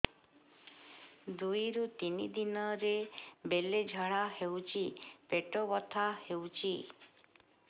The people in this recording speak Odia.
ଦୁଇରୁ ତିନି ଦିନରେ ବେଳେ ଝାଡ଼ା ହେଉଛି ପେଟ ବଥା ହେଉଛି